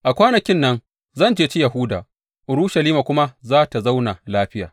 A kwanakin nan zan ceci Yahuda Urushalima kuma za tă zauna lafiya.